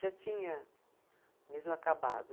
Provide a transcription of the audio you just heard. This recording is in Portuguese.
Já tinha mesmo acabado.